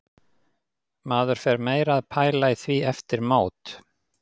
Maður fer meira að pæla í því eftir mót.